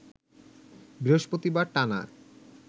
বৃহস্পতিবার টানা